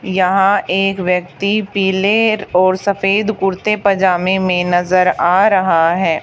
यहां एक व्यक्ति पीले और सफेद कुर्ते पजामे में नजर आ रहा है।